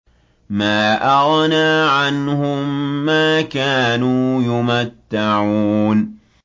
مَا أَغْنَىٰ عَنْهُم مَّا كَانُوا يُمَتَّعُونَ